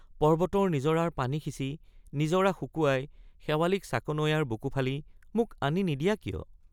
পৰ্ব্বতৰ নিজৰাৰ পানী সিচি নিজৰা শুকুৱাই শেৱালিক চাকনৈয়াৰ বুকু ফালি মোক আনি নিদিয়া কিয়?